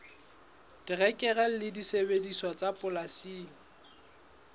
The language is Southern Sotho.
terekere le disebediswa tsa polasing